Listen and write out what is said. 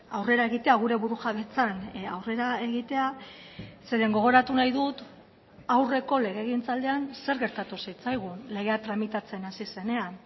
aurrera egitea gure burujabetzan aurrera egitea zeren gogoratu nahi dut aurreko legegintzaldian zer gertatu zitzaigun legea tramitatzen hasi zenean